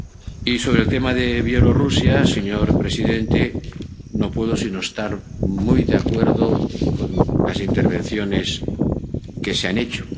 Y sobre el tema de Bielorrusia, señor presidente, no puedo sino estar muy de acuerdo con las intervenciones que se han hecho.